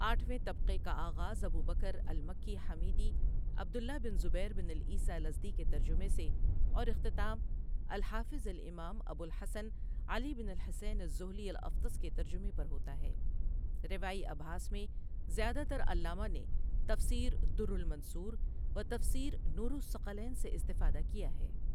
آٹھویں طبقہ کا آغاز ابوبکر المکی حمیدی عبد اللہ بن زبیر بن عیسیٰ الازدی کے ترجمہ سے اور اختتام الحافظ الامام ابوالحسن علی بن الحسین الذھلی الافطس کے ترجمہ پر ہوتا ہے روائی ابحاث میں زیادہ تر علامہ نے تفسیر در المنثور و تفسیر نور الثقلین سے استفادہ کیا ہے۔